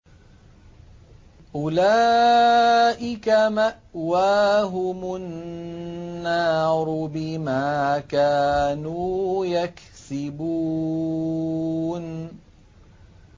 أُولَٰئِكَ مَأْوَاهُمُ النَّارُ بِمَا كَانُوا يَكْسِبُونَ